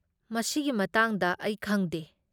ꯃꯁꯤꯒꯤ ꯃꯇꯥꯡꯗ ꯑꯩ ꯈꯪꯗꯦ꯫